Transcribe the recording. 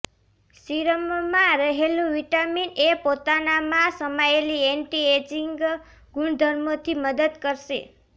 સીરમમાં રહેલું vitamin A પોતાનામાં સમાયેલી એન્ટિ એજિંગ ગુણધર્મોથી મદદ કરશે